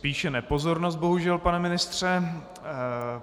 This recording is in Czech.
Spíše nepozornost, bohužel, pane ministře.